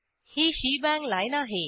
ही shebang line आहे